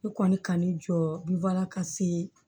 Ne kɔni ka ne jɔ bi baara ka se